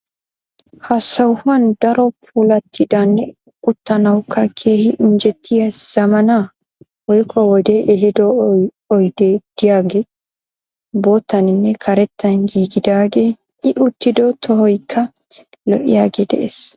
Ha sohuwaani daro puulattidanne uttanawukka keehi injetiya zammaana woykko wodee ehiido oydee de'iyaagee boottaaninne karettan giigidaagee i uttido tohoyikka lo'iyooge de'ees.